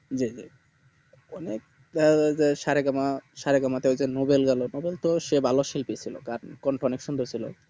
অনেক বড়চর সা রে গা মা সা রে গা মা টাইপ এর নোবেলের গুলো তখন তো সে ভালো শিল্পী ছিল তার কণ্ঠ অনেক সুন্দর ছিল